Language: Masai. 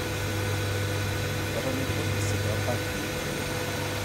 Ketoni irpolisi toonkampii enye